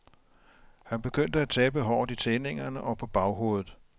Han begyndte at tabe håret i tindingerne og på baghovedet.